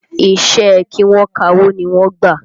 Iṣẹ́ ẹ kí wọ́n kawó ni wọ́n gbà